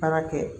Baara kɛ